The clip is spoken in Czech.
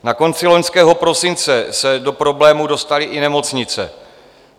Na konci loňského prosince se do problémů dostaly i nemocnice.